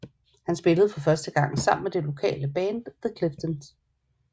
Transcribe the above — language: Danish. Han spillede første gang sammen med det lokale band The Cliftens